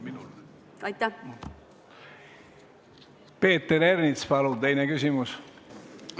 Peeter Ernits, palun teine küsimus!